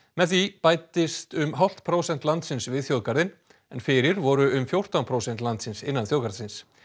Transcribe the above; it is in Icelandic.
með því bætist um hálft prósent landsins við þjóðgarðinn en fyrir voru um fjórtán prósent landsins innan þjóðgarðsins